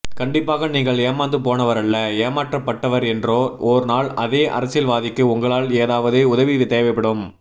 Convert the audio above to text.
கண்டிப்பாக நீங்கள் ஏமாந்து போனவரல்ல ஏமாற்றப்பட்டவர்என்றோ ஓர் நாள் அதே அரசியல்வாதிக்கு உங்களால் ஏதாவது உதவி தேவைப்படும்